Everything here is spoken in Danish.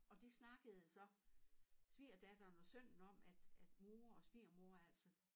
Og det snakkede så svigerdatteren og sønnen om at at mor og svigermor altså